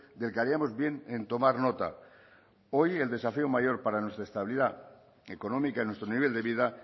del que haríamos bien en tomar nota hoy el desafío mayor para nuestra estabilidad económica en nuestro nivel de vida